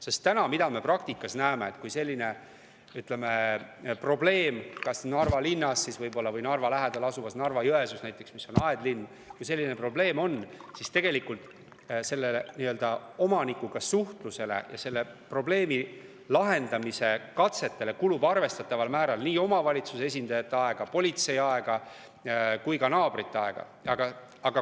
Sest mida me täna praktikas näeme: kui selline probleem kas Narva linnas või Narva lähedal asuvas Narva-Jõesuus, mis on aedlinn, on, siis selle omanikuga suhtlusele ja selle probleemi lahendamise katsetele kulub arvestataval määral nii omavalitsuse esindajate aega, politsei aega kui ka naabrite aega.